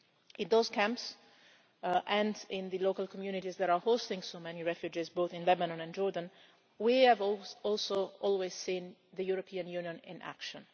In those camps and in the local communities that are hosting so many refugees, both in Lebanon and Jordan, we have almost always also seen the European Union in action.